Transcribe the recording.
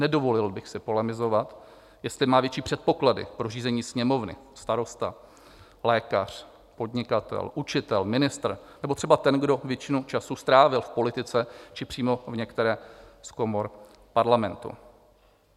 Nedovolil bych si polemizovat, jestli má větší předpoklady pro řízení Sněmovny starosta, lékař, podnikatel, učitel, ministr nebo třeba ten, kdo většinu času strávil v politice či přímo v některé z komor parlamentu.